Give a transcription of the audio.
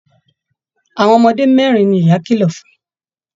Àwọn ọmọdé mẹrin ní ìyá kìlọ̀ fún.